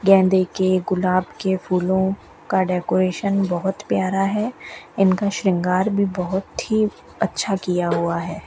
गेंदे के गुलाब के फूलों का डेकोरेशन बहुत प्यार है इनका श्रृंगार भी बहुत ही अच्छा किया हुआ है।